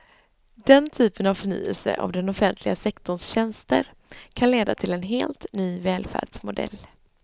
Den typen av förnyelse av den offentliga sektorns tjänster kan leda till en helt ny välfärdsmodell.